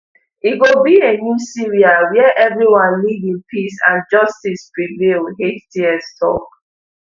e go be a new syria wia everyone live in peace and justice prevail hts tok